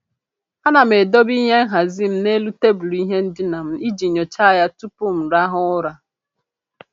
A na m edobe ihe nhazị m n'elu tebụl ihe ndịna m iji nyocha ya tụpụ m rahụ ụra.